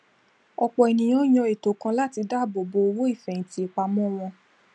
ọpọ ènìyàn ń yàn ètò kan láti dáàbò bo owó ìfèhìntì ìpamò wọn